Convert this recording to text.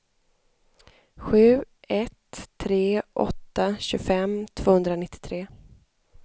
sju ett tre åtta tjugofem tvåhundranittiotre